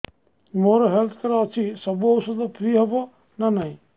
ମୋର health card ଅଛି ସବୁ ଔଷଧ ଫ୍ରି ହବ ନା ନାହିଁ